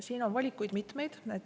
Siin on valikuid mitmeid.